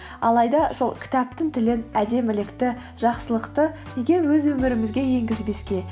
алайда сол кітаптың тілін әдемілікті жақсылықты неге өз өмірімізге енгізбеске